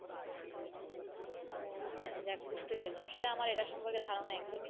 ও আচ্ছা যাক বুজতে পেরেছি আসলে আমার এটার সম্পর্কে ধারণা একদমই।